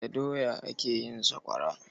Da doya ake yin sakwawara.